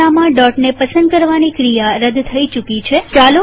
આ ઘટનામાંદોટને પસંદ કરવાની ક્રિયા રદ થઇ ચુકી છે